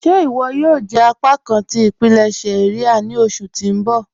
Ṣé iwọ yòò jẹ apákan tí ipilẹṣẹ iria ni oṣù tó n bọ́?